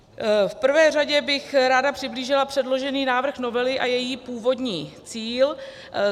V prvé řadě bych ráda přiblížila předložený návrh novely a její původní cíl.